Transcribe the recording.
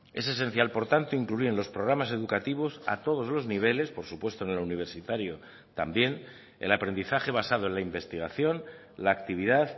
es esencial por tanto incluir en los programas educativos a todos los niveles por supuesto en el universitario también el aprendizaje basado en la investigación la actividad